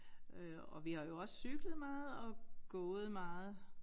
Øh og vi har jo også cyklet meget og gået meget